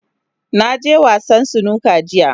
Na je wasa Snooker jiya.